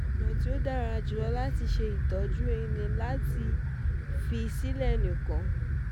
Ọ̀nà tí ó dára jù láti tọ́jú èyí ni láti èyí ni láti fi sílẹ̀ nìkan